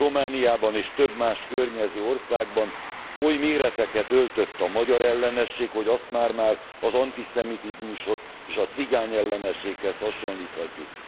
Romániában és több más környező országban oly méreteket öltött a magyarellenesség, hogy azt már már az antiszemitizmushoz és a cigányellenességhez hasonlíthatjuk.